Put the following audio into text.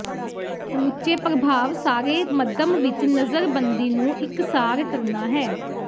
ਸਮੁੱਚੇ ਪ੍ਰਭਾਵ ਸਾਰੇ ਮੱਧਮ ਵਿਚ ਨਜ਼ਰਬੰਦੀ ਨੂੰ ਇਕਸਾਰ ਕਰਨਾ ਹੈ